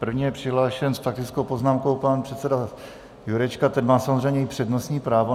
První je přihlášen s faktickou poznámkou pan předseda Jurečka, ten má samozřejmě i přednostní právo.